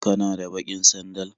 Kana da baƙin sandal?